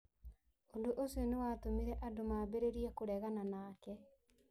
Ũndũ ũcio nĩ watũmire andũ mambĩrĩrie kũregana nake.